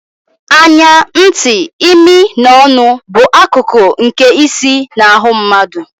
Anya, ntị, imi na ọnụ bụ akụkụ nke isi na ahụ mmadụ.